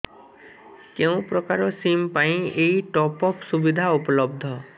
କେଉଁ ପ୍ରକାର ସିମ୍ ପାଇଁ ଏଇ ଟପ୍ଅପ୍ ସୁବିଧା ଉପଲବ୍ଧ